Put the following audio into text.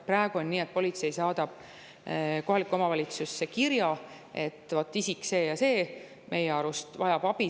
Praegu on nii, et politsei saadab kohalikku omavalitsusse kirja, et isik see ja see vajab nende arust abi.